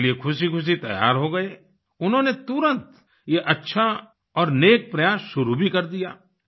वे इसके लिए खुशीखुशी तैयार हो गए उन्होंने तुरंत ये अच्छा और नेक प्रयास शुरू भी कर दिया